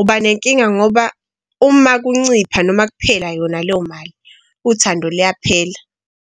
ubanenkinga ngoba uma kuncipha noma kuphela yona leyo mali uthando liyaphela.